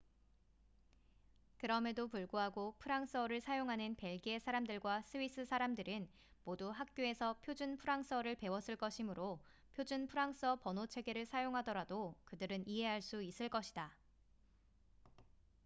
그럼에도 불구하고 프랑스어를 사용하는 벨기에 사람들과 스위스 사람들은 모두 학교에서 표준 프랑스어를 배웠을 것이므로 표준 프랑스어 번호 체계를 사용하더라도 그들은 이해할 수 있을 것이다